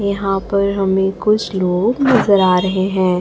यहाँ पर हमें कुछ लोग नजर आ रहें हैं।